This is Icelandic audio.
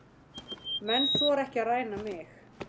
Menn þora ekki að ræna mig.